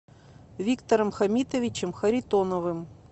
виктором хамитовичем харитоновым